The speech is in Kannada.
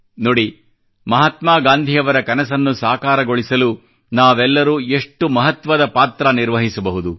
ನೋಡಿ ಮಹಾತ್ಮಾ ಗಾಂಧಿಯವರ ಕನಸನ್ನು ಸಾಕಾರಗೊಳಿಸಲು ನಾವೆಲ್ಲರೂ ಎಷ್ಟು ಮಹತ್ವದ ಪಾತ್ರ ನಿರ್ವಹಿಸಬಹುದು